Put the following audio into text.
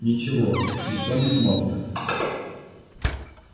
ничего никто не смотрит